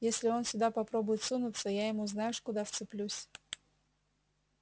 если он сюда попробует сунуться я ему знаешь куда вцеплюсь